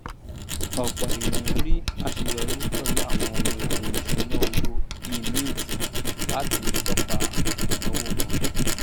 ọpọ ènìyàn rí aṣeyọrí pẹlú àwọn ohun èlò iṣuna owó bíi mint láti tọpa àwọn ináwó wọn